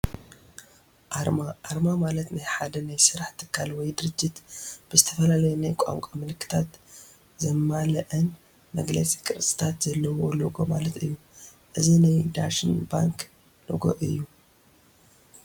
ኣርማ፡- ኣርማ ማለት ናይ ሓደ ናይ ስራሕ ትካል ወይ ድርጅት ብዝተፈላለየ ናይ ቋንቋ ምልክታት ዘማልአን መግለፂ ቅርፅታት ዘለዎ ሎጎ ማለት እዩ፡፡ እዚ ናይ ዳሽን ባንክ ሎጎ እዩ፡፡